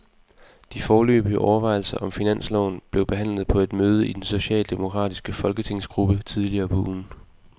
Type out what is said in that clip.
De foreløbige overvejelser om finansloven blev behandlet på et møde i den socialdemokratiske folketingsgruppe tidligere på ugen.